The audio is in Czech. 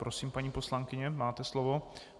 Prosím, paní poslankyně, máte slovo.